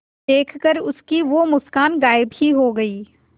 देखकर उसकी वो मुस्कान गायब ही हो गयी